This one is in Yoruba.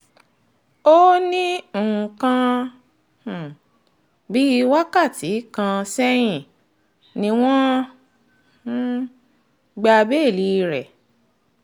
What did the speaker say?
ó ní ní nǹkan um bíi wákàtí kan sẹ́yìn ni wọ́n um gba béèlì rẹ̀